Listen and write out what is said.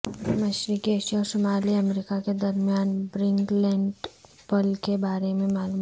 مشرقی ایشیا اور شمالی امریکہ کے درمیان برنگ لینڈ پل کے بارے میں معلومات